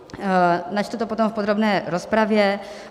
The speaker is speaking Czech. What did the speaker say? Načtu to potom v podrobné rozpravě.